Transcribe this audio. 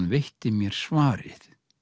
veitti mér svarið